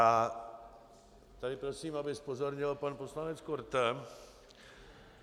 A tady prosím, aby zpozorněl pan poslanec Korte.